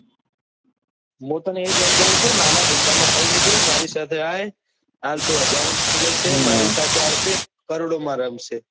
મુ તને એ જ સમજવું ચુ નાના ધંધા માં કઈ જ નથી મારી સાથે આવ હાલ તું હજારો માં ખેલે છે મારી સાથે આવશે કરોડો માં રમશે.